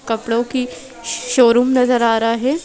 कपड़ों की शोरूम नज़र आ रहा है।